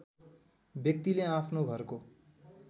व्यक्तिले आफ्नो घरको